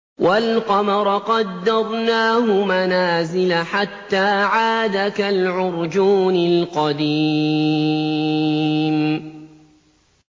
وَالْقَمَرَ قَدَّرْنَاهُ مَنَازِلَ حَتَّىٰ عَادَ كَالْعُرْجُونِ الْقَدِيمِ